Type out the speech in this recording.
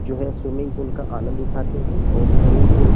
जो है swimming pool का आनंद उठाते हैं और स्विमिंग पूल --